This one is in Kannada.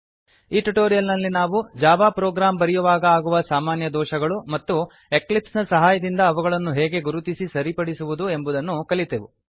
ಈ ಟ್ಯುಟೋರಿಯಲ್ ನಲ್ಲಿ ನಾವು ಜಾವಾ ಪ್ರೊಗ್ರಾಮ್ ಬರೆಯುವಾಗ ಆಗುವ ಸಾಮಾನ್ಯ ದೋಷಗಳು ಮತ್ತು ಎಕ್ಲಿಪ್ಸ್ ನ ಸಹಾಯ ದಿಂದ ಅವುಗಳನ್ನು ಹೇಗೆ ಗುರುತಿಸಿ ಸರಿಪಡಿಸುವುದು ಎಂಬುದನ್ನು ಕಲಿತೆವು